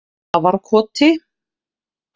Grafarkoti